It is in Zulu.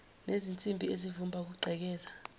nezinsimbi ezivimba ukugqekeza